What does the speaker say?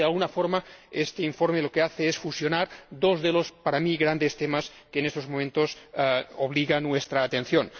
Por lo tanto, de alguna forma este informe lo que hace es fusionar dos de los para mí grandes temas que en estos momentos retienen nuestra atención.